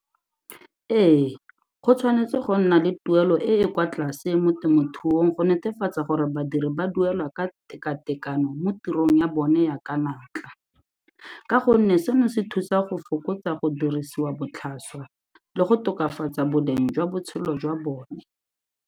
Ee, go tshwanetse go nna le tuelo e e kwa tlase mo temothuong go netefatsa gore badiri ba duelwa ka tekatekano mo tirong ya bone ya ka natla, ka gonne seno se thusa go fokotsa go dirisiwa botlhaswa le go tokafatsa boleng jwa botshelo jwa bone.